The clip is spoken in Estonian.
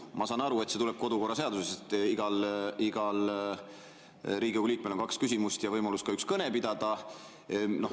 Ma saan aru, et see tuleb kodukorraseadusest, et igal Riigikogu liikmel on kaks küsimust ja võimalus ka üks kõne pidada.